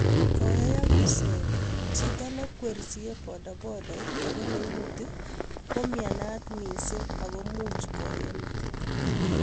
koyayak ruset, chito neikwerie bodabodait ago neimuti koumiansot missing ago much koyeeei metit